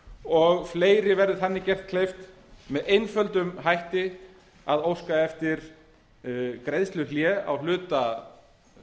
og fleiri verði þar með gert kleift með einföldum hætti að óska eftir greiðsluhléi á hluta